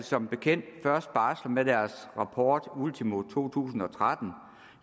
som bekendt først barsler med deres rapport ultimo to tusind og tretten